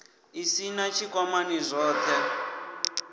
u sin a tshikwamani zwothe